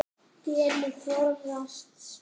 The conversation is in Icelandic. Dellu forðast má.